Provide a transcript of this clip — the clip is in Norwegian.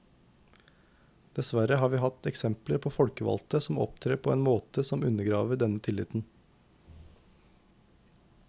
Dessverre har vi hatt eksempler på folkevalgte som opptrer på en måte som undergraver denne tilliten.